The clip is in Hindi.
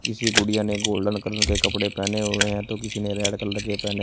किसी गुड़िया ने गोल्डन कलर के कपड़े पहने हुए हैं तो किसी ने रेड कलर के पहने --